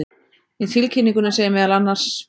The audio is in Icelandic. Í tilkynningunni segir meðal annars